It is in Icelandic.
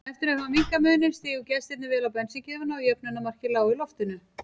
Eftir að hafa minnkað muninn stigu gestirnir vel á bensíngjöfina og jöfnunarmarkið lá í loftinu.